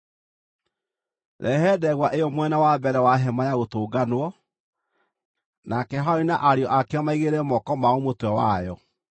“Rehe ndegwa ĩyo mwena wa mbere wa Hema-ya-Gũtũnganwo, nake Harũni na ariũ ake mĩigĩrĩre moko mao mũtwe wayo.